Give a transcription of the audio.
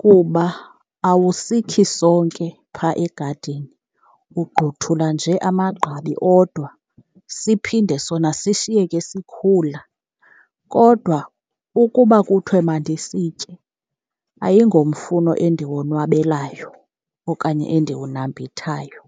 kuba awusikhi sonke phaa egadini, ugqothula nje amagqabi odwa siphinde sona sishiyeke sikhula. Kodwa ukuba kuthiwe mandisitye, ayingomfuno endiwonwabelayo okanye endiwunambithayo.